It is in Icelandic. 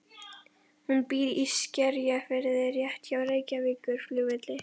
Hún býr í Skerjafirði rétt hjá Reykjavíkurflugvelli.